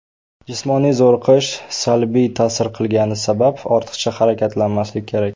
Jismoniy zo‘riqish salbiy ta’sir qilgani sabab ortiqcha harakatlanmaslik kerak.